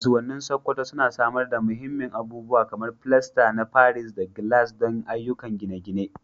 Kasuwannin Sokoto suna samar da muhimman abubuwa kamar filasta na paris da gilashin don ayyukan gine-gine.